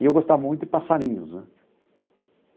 E eu gostava muito de passarinhos, né?